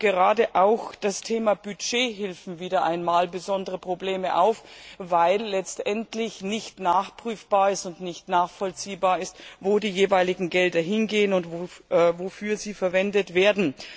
Gerade das Thema Budgethilfen wirft wieder einmal besondere Probleme auf, weil letztendlich nicht nachprüfbar und nicht nachvollziehbar ist, wo die jeweiligen Gelder hingehen und wofür sie verwendet werden.